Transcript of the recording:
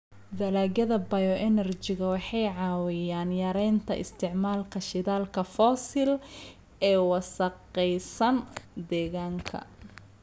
Dalagyada bioenergy-ga waxay caawiyaan yaraynta isticmaalka shidaalka fosil ee wasakhaysan deegaanka.